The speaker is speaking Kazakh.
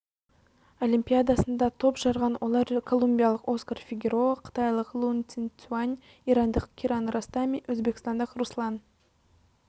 олимпиадасында топ жарған олар колумбиялық оскар фигероа қытайлық лун цинцюань ирандық киран ростами өзбекстандық руслан